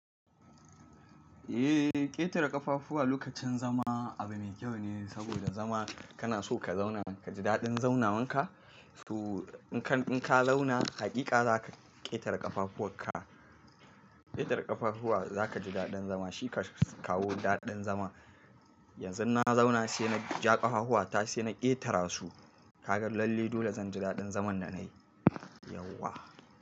Eh, ƙetare ƙafafuwa lokacin zama abu mai kyau ne, saboda zama kana so ka zauna ka ji daɗin zaunawanka. To in ka, in ka zauna haƙiƙa za ka ƙetare ƙafafuwan ka. Ƙetare ƙafafuwa za ka ji daɗin zama shi kan kawo daɗin zama. Yanzu na zauna sai na ja ƙafahuwa, ta sai na ƙetara su. Ka ga lalle dole zan ji daɗin zaman da na yi, yauwa.